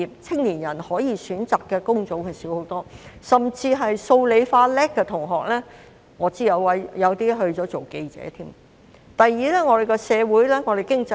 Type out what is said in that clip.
青年人可以選擇的工種大幅減少，我甚至知道有些數、理、化成績優秀的同學成為了記者。